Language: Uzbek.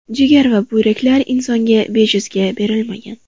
Jigar va buyraklar insonga bejizga berilmagan.